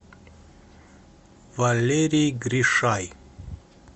валерий гришай